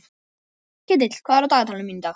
Ketill, hvað er á dagatalinu mínu í dag?